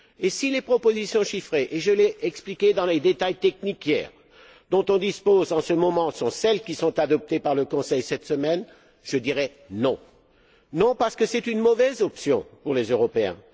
Et si les propositions chiffrées et je l'ai expliqué dans le détail technique hier dont nous disposons en ce moment sont celles qui sont adoptées par le Conseil cette semaine, je dirai non. Non, parce qu'elles sont un mauvais choix pour les Européens.